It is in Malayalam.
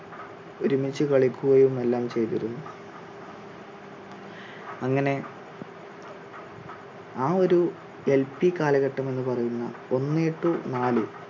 ഒരുമിച്ച് കളിക്കുകയും എല്ലാം ചെയ്തിരുന്നു. അങ്ങനെ ആ ഒരു LP കാലഘട്ടം എന്ന് പറയുന്ന ഒന്നേ to നാല്